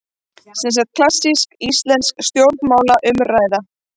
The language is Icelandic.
Semsagt klassísk íslensk stjórnmálaumræða.